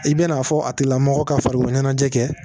I bɛn'a fɔ a tigilamɔgɔ ka farikolo ɲɛnajɛ kɛ